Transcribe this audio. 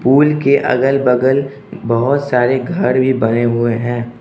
Pool के अगल बगल बहोत सारे घर भी बने हुए हैं।